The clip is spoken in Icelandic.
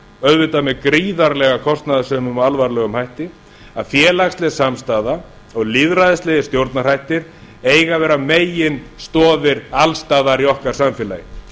auðvitað með gríðarlega kostnaðarsömum og alvarlegum hætti að félagsleg samstaða og lýðræðislegir stjórnarhættir eiga að vera meginstoðir alls staðar í okkar samfélagi